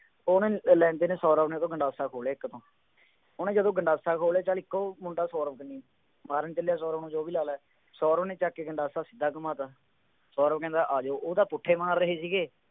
ਉਹਨੇ ਲੈਂਦੇ ਨੇ, ਸੌਰਵ ਨੇ ਉਹ ਤੋਂ ਗੰਡਾਸਾ ਖੋਹ ਲਿਆ ਇੱਕ ਤੋਂ ਉਹਨੇ ਜਦੋਂ ਗੰਡਾਸਾ ਖੋਹ ਲਿਆ ਤਾਂ ਇੱਕ ਉਹ ਮੁੰਡਾ ਸੋਰਵ ਮਾਰਨ ਚੱਲਿਆ ਸੌਰਵ ਨੂੰ ਜੋ ਵੀ ਸੌਰਵ ਨੇ ਚੱਕ ਕੇ ਗੰਡਾਸਾ ਸਿੱਧਾ ਘੁੰਮਾਤਾ, ਸੌਰਵ ਕਹਿੰਦਾ ਆ ਜਾਉ, ਉਹ ਤਾਂ ਪੁੱਠੇ ਮਾਰ ਰਹੇ ਸੀਗੇ,